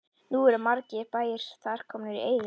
Nú eru margir bæir þar komnir í eyði.